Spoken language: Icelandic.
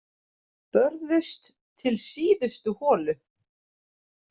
Börðust til síðustu holu